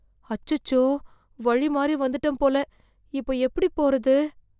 அச்சச்சோ வழி மாறிவந்துட்ட போல இப்போ எப்படி போறது